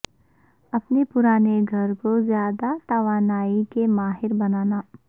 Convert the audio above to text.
اپنے پرانے گھر کو زیادہ توانائی کے ماہر بنانا